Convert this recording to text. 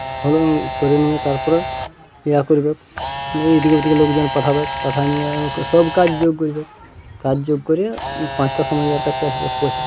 হলুন করানিয়ে তারপরে ইয়া করবেক ইদিকে ওদিকে লোক যখন পাঠাবেক পাঠাননি-য়ে সব কাজ যোগ করবেক কাজ যোগ করে পাঁচটা সময় ইয়ার কাছ কে আসবেক পয়সা --